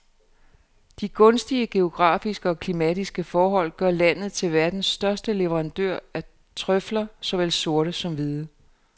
De gunstige geografiske og klimatiske forhold gør landet til verdens største leverandør af trøfler, såvel sorte som hvide.